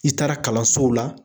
I taara kalansow la.